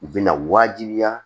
U bɛna waajibiya